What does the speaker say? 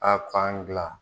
A fan gila